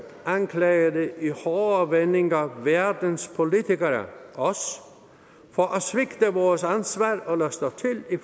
anklagede i hårde vendinger verdens politikere os for at svigte vores ansvar og lade stå til i